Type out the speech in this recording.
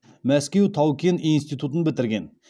мәскеу тау кен институтын бітірген